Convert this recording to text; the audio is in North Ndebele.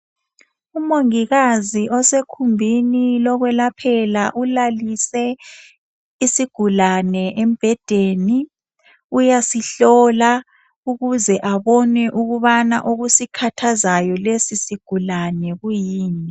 Umongikazi osegumbini lokwelaphela ulalise isigulane embhedeni uyasihlola ukuze abone ukubana okusikhathazayo lesi sigulane kuyini.